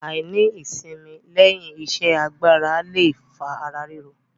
Àìní ìsimi lẹ́yìn iṣẹ́ agbára le fa ara ríro.